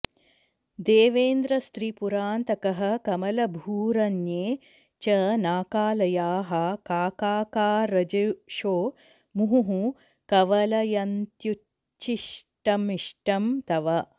देवेन्द्रस्त्रिपुरान्तकः कमलभूरन्ये च नाकालयाः काकाकारजुषो मुहुः कवलयन्त्युच्छिष्टमिष्टं तव